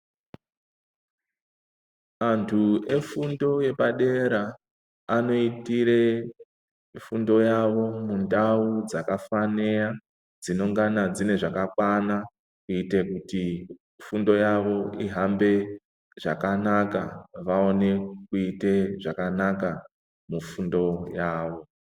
Antu efundo yepadera anoitire fundo yavo mundau dzakafanira dzinongana dzine zvakakwana, kuite kuti fundo yavo ihambe zvakanaka, vaone kuite zvakanaka mufundo yavo.